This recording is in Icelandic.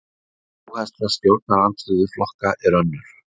Áhersla stjórnarandstöðuflokka er önnur.